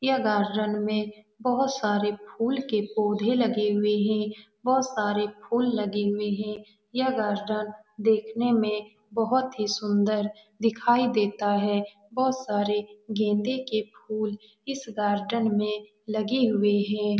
यह गार्डन में बहुत सारे फूल के पौधे भी लगे हुए हैं बहुत सारे फूल लगे हुए हैं यह गार्डन देखने में बहुत ही सुंदर दिखाई देता है बहुत सारे गेंदे के फूल इस गार्डन में लगे हुए हैं।